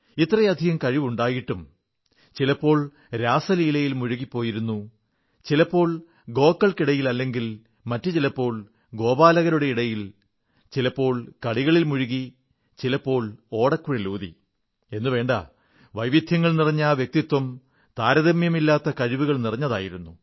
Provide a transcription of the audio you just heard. ഇത്രയധികം കഴിവുണ്ടായിട്ടും ചിലപ്പോൾ രാസലീലയിൽ മുഴുകിപ്പോയിരുന്നു ചിലപ്പോൾ ഗോക്കൾക്കിടയിലെങ്കിൽ മറ്റു ചിലപ്പോൾ ഗോപാലകരുടെ ഇടയിൽ ചിലപ്പോൾ കളികളിൽ മുഴുകി ചിലപ്പോൾ ഓടക്കുഴലൂതി എന്നുവേണ്ട വൈവിധ്യങ്ങൾ നിറഞ്ഞ ആ വ്യക്തിത്വം താരതമ്യമില്ലാത്ത കഴിവുകൾ നിറഞ്ഞതായിരുന്നു